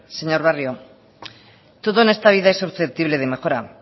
señor barrio todo en esta vida es susceptible de mejora